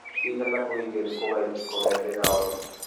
Bik alak kokikigeer kokaib kong'ete koatok.